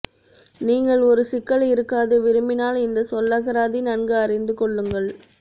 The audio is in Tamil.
நீங்கள் ஒரு சிக்கல் இருக்காது விரும்பினால் இந்த சொல்லகராதி நன்கு அறிந்து கொள்ளுங்கள்